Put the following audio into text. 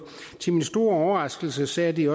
til min store overraskelse sagde de